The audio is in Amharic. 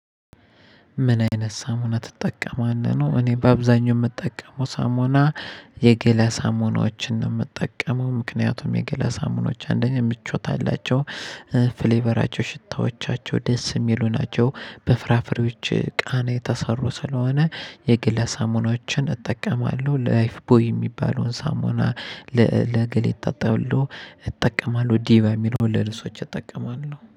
ምን አይነት ሳሙና ትጠቀማለህ ነው? እኔ በአብዛኛው የምጠቀመው ሳሙና የገላ ሳሙናዎችን ነው የምጠቀመው ምክንያቱም የገላ ሳሙናዎች አንደኛ ምቾት አላቸው። ፍሌቨራቸው ሽታዎቻቸው ደስ የሚሉ ናቸው በፍራፍሬዎች ቃና የተሰሩ ስለሆነ የገላ ሳሞናዎችን እጠቀማለሁ። ላይፍ ቦይ የሚባለውን ሳሞና ለገላዬ እታጠባለሁ። እጠቀማለሁ ዲባ የሚለውን ለልብሶች እጠቀማለሁ